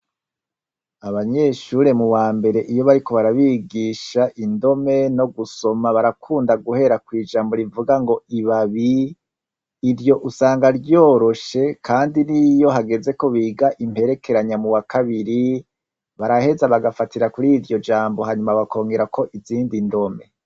Abanyeshure mu wa mbere iyo bariko barabigisha indome no gusoma barakunda guhera kw’ijambo rivuga ngo ibabi. Iryo usanga ryoroshe kandi n’iyo hageze ko biga imperekeranya mu wa kabiri baraheza bagafatira kuri iryo jambo hanyuma bakongerako izindi ndome.